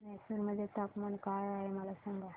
म्हैसूर मध्ये तापमान काय आहे मला सांगा